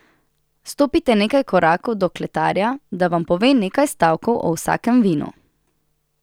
Stopite nekaj korakov do kletarja, da vam pove nekaj stavkov o vsakem vinu!